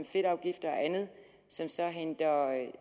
fedtafgifter og andet som så